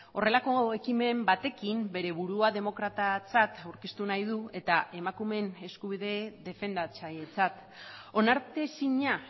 horrelako ekimen batekin bere burua demokratatzat aurkeztu nahi du eta emakumeen eskubide defendatzailetzat onartezina